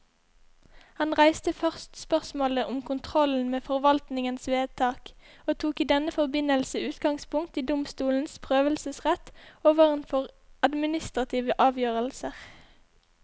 Han reiste først spørsmålet om kontrollen med forvaltningens vedtak, og tok i denne forbindelse utgangspunkt i domstolenes prøvelsesrett overfor administrative avgjørelser.